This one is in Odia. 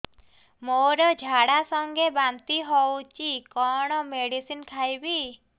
ମୋର ଝାଡା ସଂଗେ ବାନ୍ତି ହଉଚି କଣ ମେଡିସିନ ଖାଇବି